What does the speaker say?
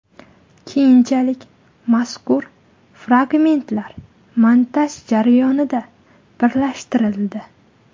Keyinchalik mazkur fragmentlar montaj jarayonida birlashtirildi.